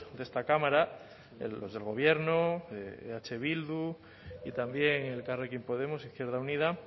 de esta cámara los del gobierno eh bildu y también elkarrekin podemos izquierda unida